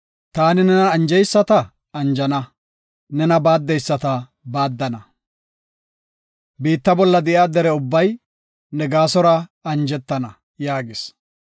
Taani nena anjeyisata anjana; nena baaddeyisata baaddana, biitta bolla de7iya dere ubbay ne gaasora anjetana” yaagis.